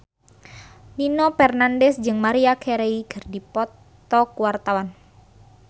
Nino Fernandez jeung Maria Carey keur dipoto ku wartawan